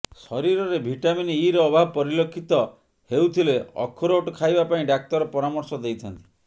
ଶରୀରରେ vitamin E ର ଅଭାବ ପରିଲକ୍ଷିତ ହେଉଥିଲେ ଅଖରୋଟ ଖାଇବା ପାଇଁ ଡାକ୍ତର ପରାମର୍ଶ ଦେଇଥାନ୍ତି